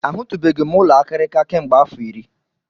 A hụtụbeghị m ụlọ akịrịka kemgbe afọ iri.